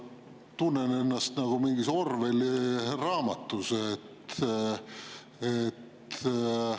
Ma tunnen ennast nagu mingis Orwelli raamatus.